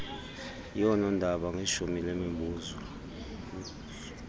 yoonondaba ngeshumi lemizuzu